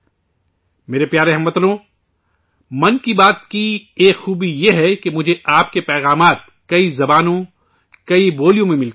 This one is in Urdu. میرے پیارے ہم وطنو، 'من کی بات ' کی ایک خوبی یہ ہے کہ مجھے آپ کے پیغامات کئی زبانوں، کئی بولیوں میں ملتے ہیں